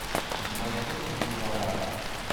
у тебя найдется дюрарара